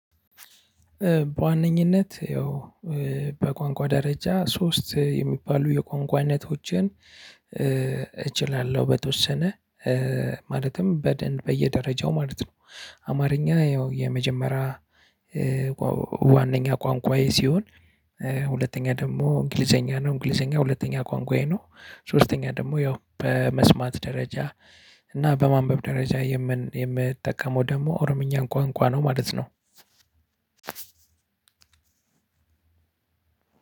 በዋነኝነት ያው በቋንቋ ደረጃ ሶስት የሚባሉ የቋንቋ አይነቶችን እችላለሁ በተወሰነ ማለትም በደንብ በየደረጃው ማለት ነው። አማርኛ ያው የመጀመሪያ ዋናኛ ቋንቋዬ ሲሆን። ሁለተኛ ደግሞ እንግሊዘኛ ነው እንግሊዘኛ ሁለተኛ ቋንቋዬ ነው። ሶስተኛ ደግሞ ያው በመስማት ደረጃ እና በማንበብ ደረጃ የምን የምጠቀመው ደግሞ ኦሮምኛን ቋንቋ ነው ማለት ነው።